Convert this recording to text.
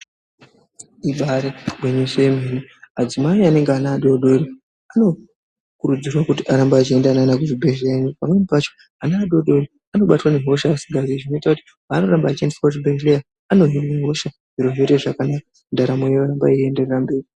Ibari gwinyiso remene adzimai anenge ane ana adodori anokurudzirwa kuti arambe achienda neana kuzvibhedhlera ino pamweni pacho ana adoko anobatwa nehosha zvisingaiti zvinoita kuti panoramba achiendeswa kuzvibhedhlera ano hinwa hosha zviro zvoita zvakanaka ndaramo yoramba ichienda mberi.